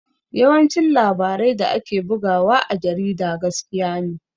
Yawancin labarai da ake bugawa a jarida gaskiya ne